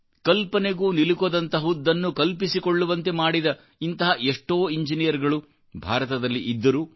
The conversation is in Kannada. ಕಲ್ಪನೆಗೂ ನಿಲುಕದಂತಹುದನ್ನು ಕಲ್ಪಿಸಿಕೊಳ್ಳುವಂತೆ ಮಾಡಿದಇಂತಹ ಎಷ್ಟೋ ಇಂಜಿನಿಯರ್ಗಳು ಭಾರತದಲ್ಲಿ ಇದ್ದರು